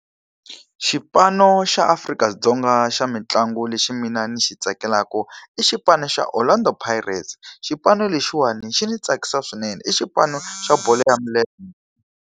Xipano xa Afrika-Dzonga xa mitlangu lexi mina ni xi tsakelaka i xipano xa Orlando Pirates. Xipano lexiwani xi ndzi tsakisa swinene, i xipano xa bolo ya milenge.